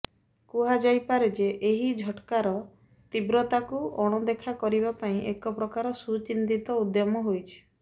କୁହାଯାଇପାରେ ଯେ ଏହି ଝଟ୍କାର ତୀବ୍ରତାକୁ ଅଣଦେଖା କରିବା ପାଇଁ ଏକ ପ୍ରକାର ସୁଚିନ୍ତିତ ଉଦ୍ୟମ ହୋଇଛି